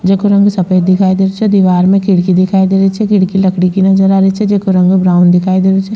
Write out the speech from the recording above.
जेको रंग सफ़ेद दिखाई दे रो छे दिवार में खिड़की दिखाई दे रही छे खिड़की लकड़ी की नजर आ री छे जेका रंग ब्राउन दिखाई दे रो छे।